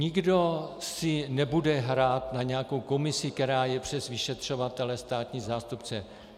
Nikdo si nebude hrát na nějakou komisi, která je přes vyšetřovatele, státní zástupce.